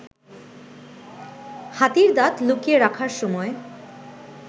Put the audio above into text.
হাতির দাঁত লুকিয়ে রাখার সময়